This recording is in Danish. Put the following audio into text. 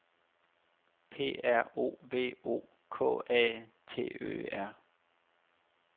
P R O V O K A T Ø R